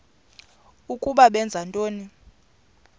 ukuba benza ntoni